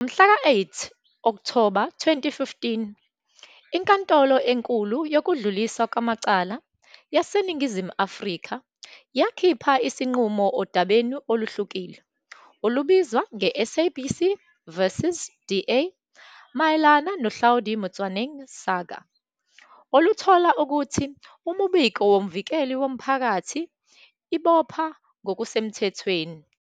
Ngomhlaka 8 Okthoba 2015 iNkantolo eNkulu yokuDluliswa kwamaCala yaseNingizimu Afrika yakhipha isinqumo odabeni oluhlukile, olubizwa "ngeSABC v DA", mayelana noHlaudi Motsoeneng saga, oluthola ukuthi imibiko yoMvikeli woMphakathi ibopha ngokusemthethweni.